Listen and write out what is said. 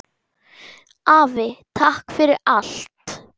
Afi, takk fyrir allt!